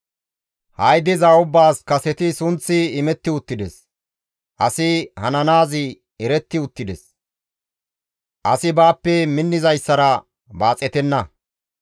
Ha7i diza ubbaas kaseti sunththi imetti uttides; asi hananaazi eretti uttides; asi baappe minnizayssara baaxettenna.